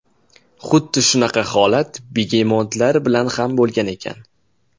Xuddi shunaqa holat begemotlar bilan ham bo‘lgan ekan.